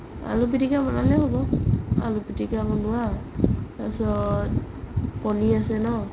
আলু পিতিকা বনালেও হ'ব আলু পিতিকা বনোৱা তাৰ পিছত কণি আছে ন?